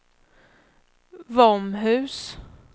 Våmhus